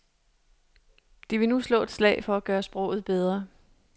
De vil nu slå et slag for at gøre sproget bedre.